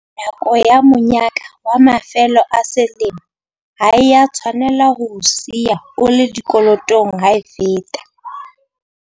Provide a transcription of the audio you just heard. Nako ya monyaka wa mafelo a selemo ha e a tshwanela ho o siya o le dikolotong ha e feta.